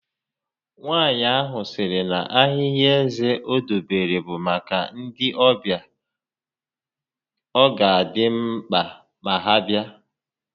Nwaànyị ahụ sịrị na ahịhị eze o dobere bụ maka ndị ọbịa ọ ga adị mkpa ma ha bịa